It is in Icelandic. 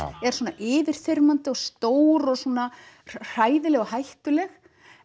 er svona yfirþyrmandi og stór og svona hræðileg og hættuleg